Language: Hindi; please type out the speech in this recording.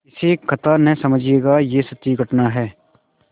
इसे कथा न समझिएगा यह सच्ची घटना है